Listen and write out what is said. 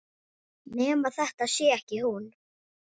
Nema þetta sé ekki hún.